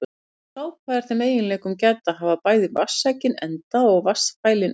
Sápa er þeim eiginleikum gædd að hafa bæði vatnssækinn enda og vatnsfælinn enda.